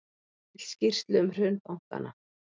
Vill skýrslu um hrun bankanna